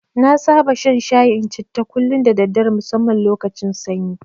Na saba shan shayin citta kullum da daddare musamman lokacin sanyi.